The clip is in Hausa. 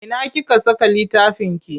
Ina kika saka littafinki?